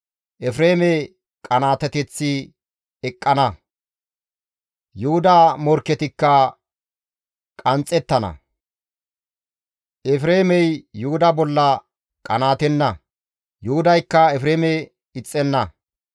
Efreeme qanaateteththi eqqana; Yuhuda morkketikka qanxxettana; Efreemey Yuhuda bolla qanaatenna; Yuhudaykka Efreeme ixxenna.